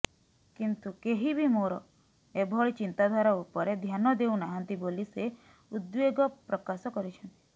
କିନ୍ତୁ କେହିବି ମୋର ଏଭଳି ଚିନ୍ତାଧାରା ଉପରେ ଧ୍ୟାନ ଦେଉ ନାହାନ୍ତି ବୋଲି ସେ ଉଦ୍ବେଗ ପ୍ରକାଶ କରିଛନ୍ତି